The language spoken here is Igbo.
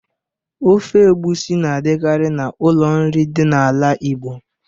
Ofe ogbusi na adikari na ụlọ nri dị na ala Igbo.